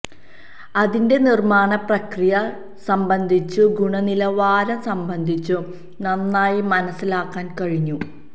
അതിന്റെ നിര്മ്മാണ പ്രക്രിയ സംബന്ധിച്ചും ഗുണനിലവാരം സംബന്ധിച്ചും നന്നായി മനസിലാക്കാന് കഴിഞ്ഞു